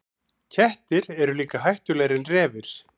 Kettir eru líka hættulegri en refir.